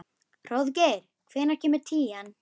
Hróðgeir, hvenær kemur tían?